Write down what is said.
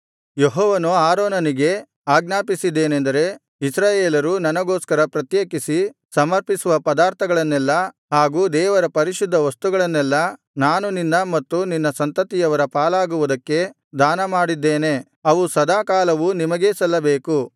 ಯೆಹೋವನು ಆರೋನನಿಗೆ ಆಜ್ಞಾಪಿಸಿದ್ದೇನೆಂದರೆ ಇಸ್ರಾಯೇಲರು ನನಗೋಸ್ಕರ ಪ್ರತ್ಯೇಕಿಸಿ ಸಮರ್ಪಿಸುವ ಪದಾರ್ಥಗಳನ್ನೆಲ್ಲಾ ಹಾಗೂ ದೇವರ ಪರಿಶುದ್ಧ ವಸ್ತುಗಳನ್ನೆಲ್ಲಾ ನಾನು ನಿನ್ನ ಮತ್ತು ನಿನ್ನ ಸಂತತಿಯವರ ಪಾಲಾಗುವುದಕ್ಕೆ ದಾನಮಾಡಿದ್ದೇನೆ ಅವು ಸದಾಕಾಲವೂ ನಿಮಗೇ ಸಲ್ಲಬೇಕು